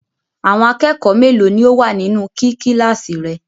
Àwọn akẹ́kọ̀ọ́ mélòó ni ó wà nínú kí kíláàsì rẹ?